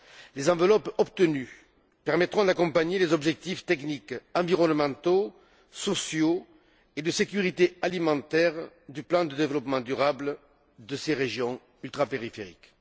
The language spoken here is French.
Les enveloppes obtenues permettront d'accompagner les objectifs techniques, environnementaux, sociaux et de sécurité alimentaire du plan de développement durable de ces régions ultrapériphériques.